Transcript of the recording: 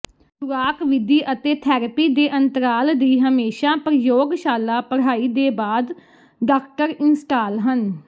ਖੁਰਾਕ ਵਿਧੀ ਅਤੇ ਥੈਰੇਪੀ ਦੇ ਅੰਤਰਾਲ ਦੀ ਹਮੇਸ਼ਾ ਪ੍ਰਯੋਗਸ਼ਾਲਾ ਪੜ੍ਹਾਈ ਦੇ ਬਾਅਦ ਡਾਕਟਰ ਇੰਸਟਾਲ ਹਨ